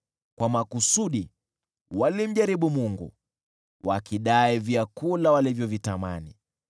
Kwa makusudi walimjaribu Mungu, wakidai vyakula walivyovitamani.